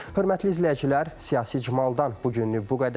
Hörmətli izləyicilər, siyasi icmaldan bu günlük bu qədər.